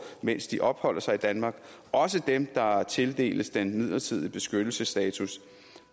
mens de opholder sig i danmark også dem der tildeles den midlertidige beskyttelsesstatus